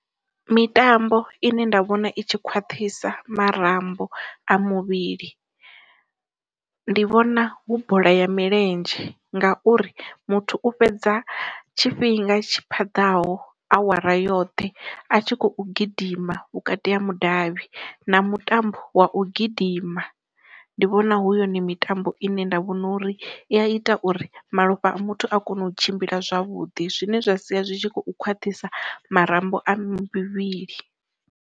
Mitambo ine nda vhona i tshi khwaṱhisa marambo a muvhili, ndi vhona hu bola ya milenzhe ngauri muthu u fhedza tshifhinga tshi phaḓaho awara yoṱhe a tshi khou gidima vhukati ha mudavhi, na mutambo wa u gidima, ndi vhona hu yone mitambo ine nda vhona uri i a ita uri malofha a muthu a kone u tshimbila zwavhuḓi, zwine zwa sia zwi tshi khou khwaṱhisa marambo a muvhili.